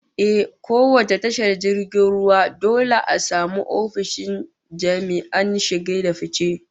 Ehh, kowace tashar jirgin ruwa dole a samu ofishin jami'an shige da fice